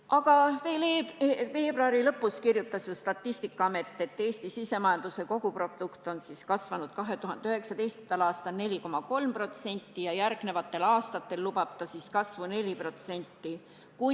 Aga veel veebruari lõpus kirjutas Statistikaamet, et Eesti sisemajanduse koguprodukt on kasvanud 2019. aastal 4,3% ja järgmisteks aastateks lubati kasvu 4%.